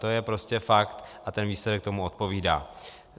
To je prostě fakt a ten výsledek tomu odpovídá.